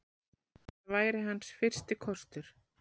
Það væri hans fyrsti kostur.